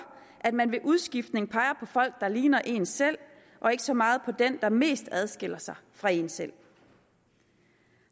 at man ved udskiftning peger på folk der ligner en selv og ikke så meget på dem der mest adskiller sig fra en selv